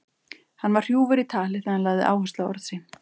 Hann var hrjúfur í tali þegar hann lagði áherslu á orð sín.